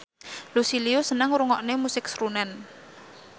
Lucy Liu seneng ngrungokne musik srunen